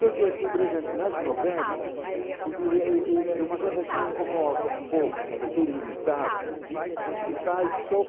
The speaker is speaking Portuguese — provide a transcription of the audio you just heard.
Só que aqui, por exemplo, nas novelas, é é é é uma coisa que me incomoda um pouco, porque é limitada se faz só.